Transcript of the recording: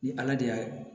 Ni ala de y'a